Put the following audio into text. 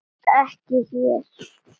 Ekki hér.